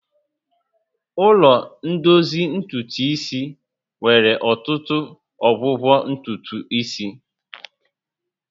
Ụlọ ndozi ntutu isi nwere ọtụtụ ụdị ọgwụgwọ ntutu isi